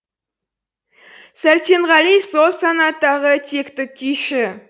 сәрсенғали сол санаттағы текті күйші